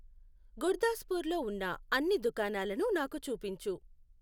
గుర్దాస్పూర్ లో ఉన్న అన్ని దుకాణాలను నాకు చూపించు